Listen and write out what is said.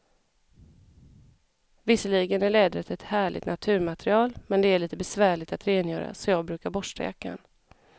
Visserligen är läder ett härligt naturmaterial, men det är lite besvärligt att rengöra, så jag brukar borsta jackan.